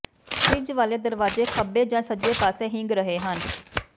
fridge ਵਾਲੇ ਦਰਵਾਜ਼ੇ ਖੱਬੇ ਜਾਂ ਸੱਜੇ ਪਾਸੇ ਹਿੰਗ ਰਹੇ ਹਨ